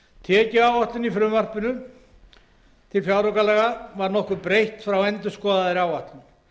tekjuáætlun í frumvarpi til fjáraukalaga var nokkuð breytt frá endurskoðaðri áætlun